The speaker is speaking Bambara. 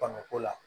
Fanga ko la